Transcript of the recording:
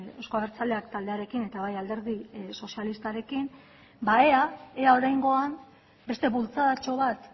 euzko abertzaleak taldearekin eta baita alderdi sozialistaren ere ea oraingoan beste bultzadatxo bat